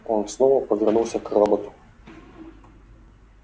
он снова повернулся к роботу